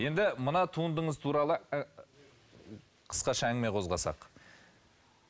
енді мына туындыңыз туралы ы қысқаша әңгіме қозғасақ